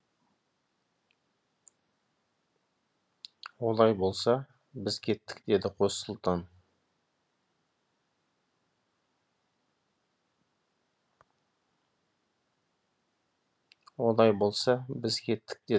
олай болса біз кеттік деді қос сұлтан